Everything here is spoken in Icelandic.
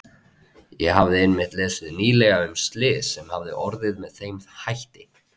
Ég hafði einmitt lesið nýlega um slys sem hafði orðið með þeim hætti.